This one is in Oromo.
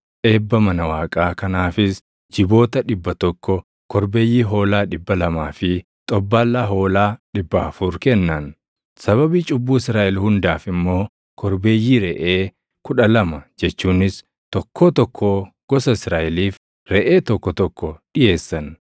Eebba mana Waaqaa kanaafis jiboota dhibba tokko, korbeeyyii hoolaa dhibba lamaa fi xobbaallaa hoolaa dhibba afur kennan; sababii cubbuu Israaʼel hundaaf immoo korbeeyyii reʼee kudha lama jechuunis tokkoo tokkoo gosa Israaʼeliif reʼee tokko tokko dhiʼeessan.